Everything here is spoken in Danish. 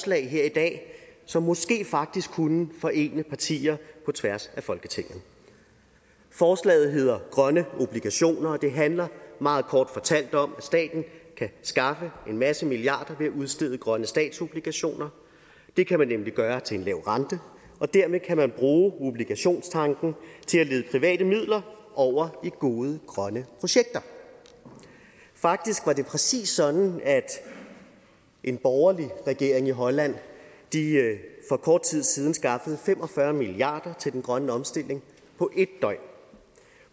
her i dag som måske faktisk kunne forene partier på tværs af folketinget forslaget hedder grønne obligationer og det handler meget kort fortalt om at staten kan skaffe en masse milliarder ved at udstede grønne statsobligationer det kan man nemlig gøre til en lav rente og dermed kan man bruge obligationstanken til at lede private midler over i gode grønne projekter faktisk var det præcis sådan at en borgerlig regering i holland for kort tid siden skaffede fem og fyrre milliard til den grønne omstilling på en døgn